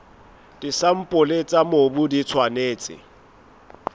disampole tsa mobu di tshwanetse